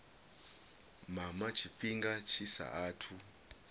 mama tshifhinga tshi sa athu